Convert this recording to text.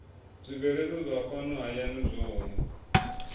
zwibveledzwa zwa fhano hayani zwohe